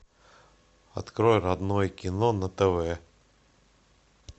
открой родное кино на тв